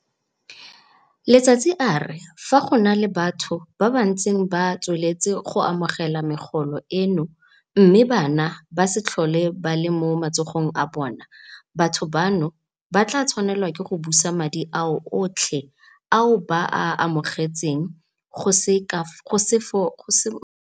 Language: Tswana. Letsatsi a re fa go na le batho ba ba ntseng ba tsweletse go amogela megolo eno mme bana ba se tlhole ba le mo matsogong a bona, batho bano ba tla tshwanela ke go busa madi ao otlhe ao ba a amogetseng go se mo molaong.